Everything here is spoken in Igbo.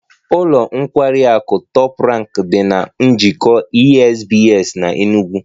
Ụlọ nkwari akụ Top Rank dị na Njikọ Esbs na Enugu